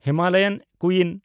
Himalayan ᱠᱩᱭᱤᱱ